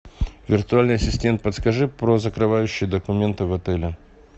виртуальный ассистент подскажи про закрывающие документы в отеле